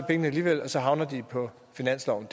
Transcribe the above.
pengene alligevel og så havner de på finansloven